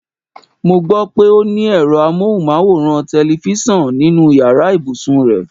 Mo gbó̩ pé o ní è̩ro̩ amóhùnmáwòrán/te̩lifís̩àn nínu yàrá ìbùsùn rè̩.